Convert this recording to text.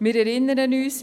Wir erinnern uns: